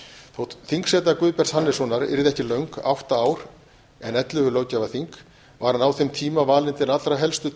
þótt þingseta guðbjarts hannessonar yrði ekki löng átta ár en ellefu löggjafarþing var hann á þeim tíma valinn til allra helstu